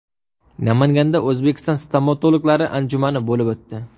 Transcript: Namanganda O‘zbekiston stomatologlari anjumani bo‘lib o‘tdi.